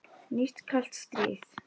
Nýtt kalt stríð?